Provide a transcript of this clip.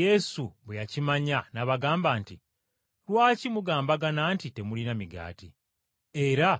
Yesu bwe yakimanya n’abagamba nti, “Lwaki mugambagana nti temulina migaati? Era